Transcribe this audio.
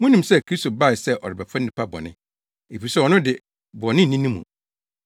Munim sɛ Kristo bae se ɔrebɛfa nnipa bɔne, efisɛ ɔno de, bɔne nni ne mu.